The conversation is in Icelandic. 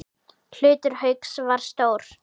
Hlutur Hauks var stór.